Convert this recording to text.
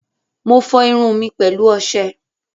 Mo fọ irun mi pẹ̀lú ọṣẹ.